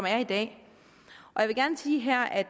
er i dag jeg vil gerne sige her at